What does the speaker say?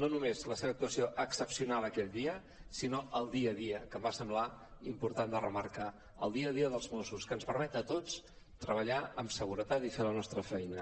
no només la seva actuació excepcional aquell dia sinó el dia a dia que em va semblar important de remarcar el dia a dia dels mossos que ens permet a tots treballar amb seguretat i fer la nostra feina